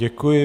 Děkuji.